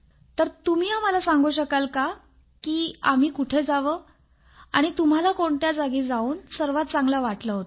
तर तुम्ही आम्हाला सांगू शकाल का की आम्ही कुठे जावे आणि तुम्हाला कोणत्या जागी जाऊन सर्वात चांगले वाटले होते